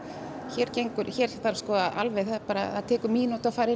hér hér þarf sko alveg það tekur mínútu að fara